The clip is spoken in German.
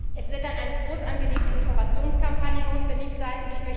Es wird dann eine großangelegte Informationskampagne notwendig sein.